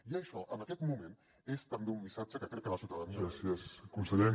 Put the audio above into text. i això en aquest moment és també un missatge que crec que la ciutadania agraeix